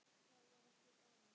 Það var ekki gaman.